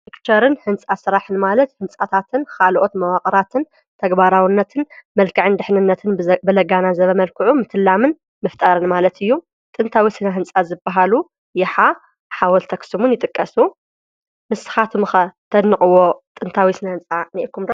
ሕንፃ ሥራሕን ማለት ሕንጻታትን ኻልኦት መዋቕራትን ተግባራውነትን መልካዕን ድኅንነትንብዘገናዘበ መልክዑ ምትላምን ምፍጣርን ማለት እዩ። ጥንታዊ ስና ሕንጻት ዝበሃሉ የኃ፣ ሓወልቲ ኣኽስሙን ይጥቀሱ። ንስኻትምኸ ተንድንቅዎ ጥንታዊ ስና ሕንፃ እኒኢኹም ዶ?